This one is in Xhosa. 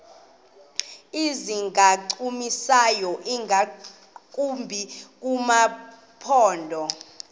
ezingancumisiyo ingakumbi kumaphondo